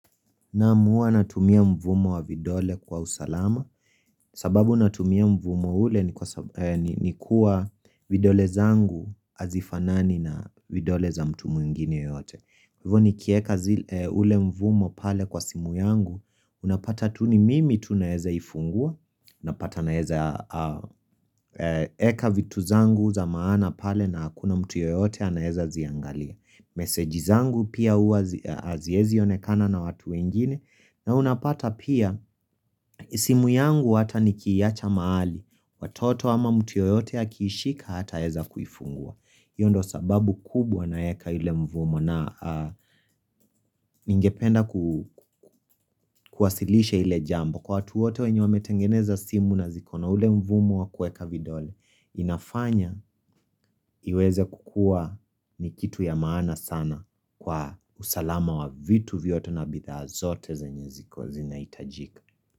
Naam, natumia mvumo wa vidole kwa usalama, sababu natumia mvumo ule ni kuwa vidole zangu azifanani na vidole za mtu mwingine yote. Hivu nikieka ule mvumo pale kwa simu yangu, unapata tu ni mimi tunaeza ifungua, unapata naeza eka vitu zangu za maana pale na hakuna mtu yoyote anaeza ziangalia. Meseji zangu pia uaziezi yonekana na watu wenjini na unapata pia isimu yangu hata niki yacha mahali watoto ama mtu yoyote akishika hata weza kufungua hiyo sababu kubwa na eka ile mvumo na ingependa kuwasilishe ile jambo Kwa watu wote wenye wametengeneza simu na zikono ule mvumo wa kueka vidole inafanya iweze kukua ni kitu ya maana sana Kwa usalama wa vitu viyoto na bidha azote za nyezi kwa zina itajika.